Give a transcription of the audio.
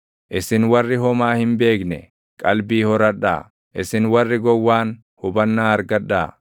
Isin warri homaa hin beekne, qalbii horadhaa; isin warri gowwaan hubannaa argadhaa.